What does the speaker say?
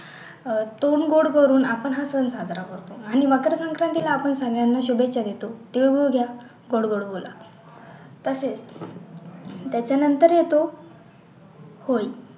अह तोंड गोड करून आपण हा सण साजरा करतो आणि मकर संक्रांतीला सगळ्यांना शुभेच्छा देतो तीळ गूळ घ्या गोड गोड बोला तसेच त्याच्या नंतर येतो होळी